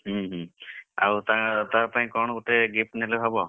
ହୁଁ ହୁଁ ଆଉ ତା ତାପାଇଁ କଣ ଗୋଟେ gift ନେଲେ ହବ?